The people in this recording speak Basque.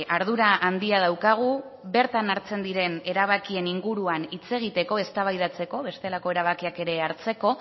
ardura handia daukagu bertan hartzen diren erabakien inguruan hitz egiteko eztabaidatzeko bestelako erabakiak ere hartzeko